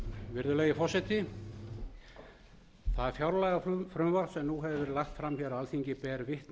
virðulegi forseti það fjárlagafrumvarp sem nú hefur verið lagt fram hér á alþingi ber vitni